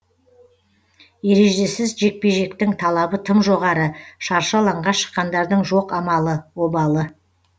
ережесіз жекпе жектің талабы тым жоғары шаршы алаңға шыққандардың жоқ амалы обалы